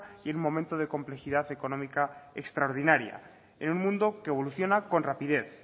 y en un momento de complejidad económica extraordinaria el mundo que evoluciona con rapidez